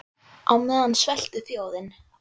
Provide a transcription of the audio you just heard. Á meðan sveltur þjóðin.